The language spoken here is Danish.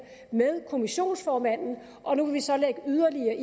med kommissionsformanden og nu vil vi så lægge yderligere